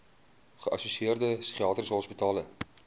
geassosieerde psigiatriese hospitale